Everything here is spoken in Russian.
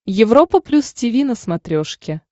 европа плюс тиви на смотрешке